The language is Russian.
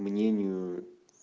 мнению